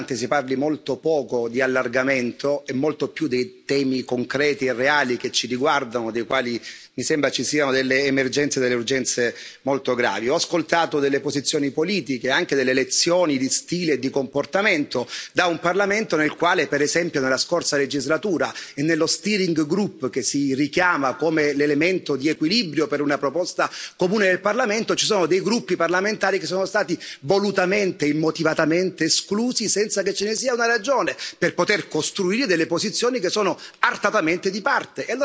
si richiama come l'elemento di equilibrio per una proposta comune del Parlamento, ci sono dei gruppi parlamentari che sono stati volutamente e immotivatamente esclusi senza che ce ne fosse una ragione, per poter costruire delle posizioni che sono artatamente di parte.